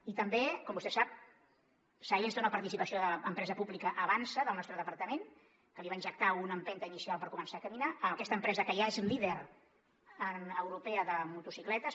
i també com vostè sap silence té una participació de l’empresa pública avançsa del nostre departament que li va injectar una empenta inicial per començar a caminar aquesta empresa que ja és líder europea de motocicletes